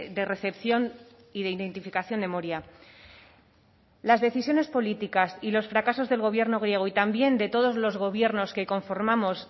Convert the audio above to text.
de recepción y de identificación de moria las decisiones políticas y los fracasos del gobierno griego y también de todos los gobiernos que conformamos